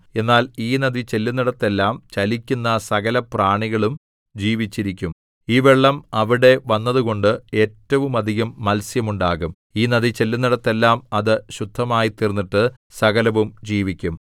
എന്നാൽ ഈ നദി ചെല്ലുന്നിടത്തെല്ലാം ചലിക്കുന്ന സകലപ്രാണികളും ജീവിച്ചിരിക്കും ഈ വെള്ളം അവിടെ വന്നതുകൊണ്ട് ഏറ്റവുമധികം മത്സ്യം ഉണ്ടാകും ഈ നദി ചെല്ലുന്നിടത്തെല്ലാം അത് ശുദ്ധമായിത്തീർന്നിട്ട് സകലവും ജീവിക്കും